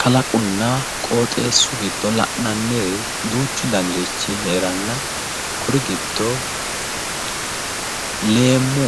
Kalaqonna qooxeessu giddo la'inanniri duuchu danirichi heeranna kuri giddo leemmu